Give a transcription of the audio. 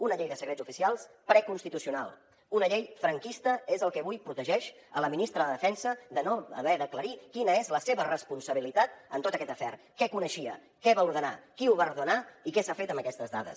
una llei de secrets oficials preconstitucional una llei franquista és el que avui protegeix a la ministra de defensa de no haver d’aclarir quina és la seva responsabilitat en tot aquest afer què coneixia què va ordenar qui ho va ordenar i què s’ha fet amb aquestes dades